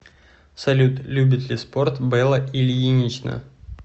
салют любит ли спорт белла ильинична